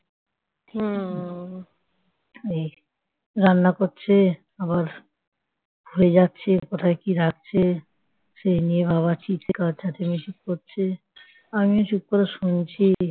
সেই নিয়ে বাবা ছিঃ চেঁচামেচি করছে আমিও চুপ করে শুনছি ।